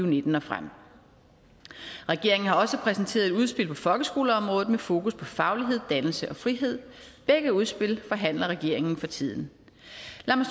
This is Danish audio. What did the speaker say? nitten og frem regeringen har også præsenteret et udspil på folkeskoleområdet med fokus på faglighed dannelse og frihed begge udspil forhandler regeringen for tiden